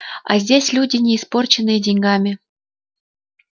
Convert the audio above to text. а здесь люди не испорченные деньгами